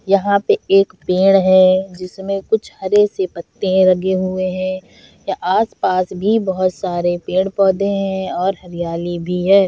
यहाँ पे एक पेड़ है जिसमें कुछ हरे से पत्ते लगे हुए है यहाँ आस-पास भी बहोत सारे पेड़-पौधे है और हरियाली भी है।